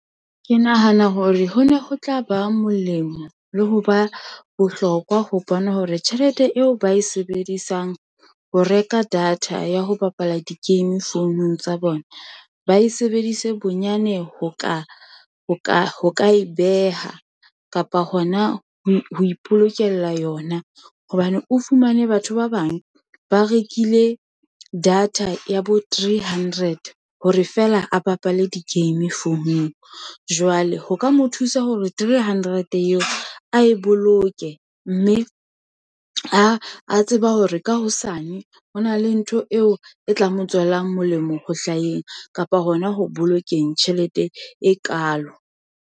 Ke nahana hore ho ne ho tla ba molemo le ho ba bohlokwa, ho bona hore tjhelete eo ba e sebedisang ho reka data, ya ho bapala di game founung tsa bona, ba e sebedise bonyane ho ka e beha, kapa hona ho ipolokela yona, hobane o fumane batho ba bang, ba rekile data ya bo three hundred, hore feela a bapale di-game founung, jwale ho ka mo thusa hore three hundred eo a e boloke, mme a tseba hore ka hosane, ho na le ntho eo e tla mo tswelang molemo ho hlaheng, kapa hona ho bolokeng tjhelete e kalo.